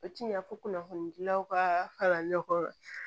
O tiɲ'a fɔ kunnafoni dilaw ka kalan ɲɔgɔn